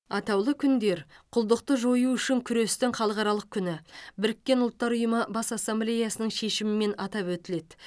атаулы күндер құлдықты жою үшін күрестің халықаралық күні біріккен ұлттар ұйымы бас ассамблеясының шешімімен атап өтіледі